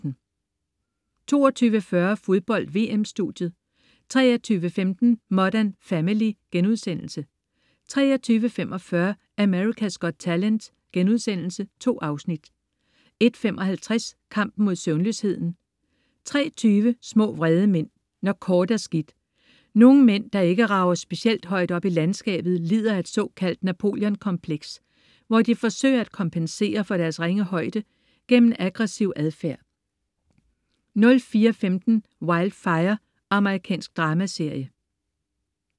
22.40 Fodbold: VM-studiet 23.15 Modern Family* 23.45 America's Got Talent.* 2 afsnit 01.55 Kampen mod søvnløsheden 03.20 Små vrede mænd. Når kort er skidt. Nogle mænd, der ikke rager specielt højt op i landskabet, lider af et såkaldt Napoleon-kompleks, hvor de forsøger at kompensere for deres ringe højde gennem aggressiv adfærd 04.15 Wildfire. Amerikansk dramaserie